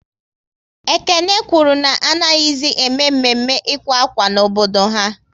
Ekene kwụrụ na anaghịzi ème Mme mme ịkwa ákwá n'obodo ha